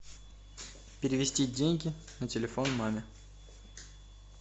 перевести деньги на телефон маме